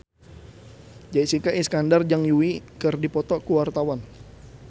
Jessica Iskandar jeung Yui keur dipoto ku wartawan